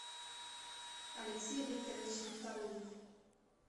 алексей викторович нифталыев